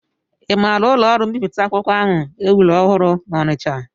I maara ụlọọrụ mbipụta ahụ e wuru ọhụrụ n'Ọnịcha?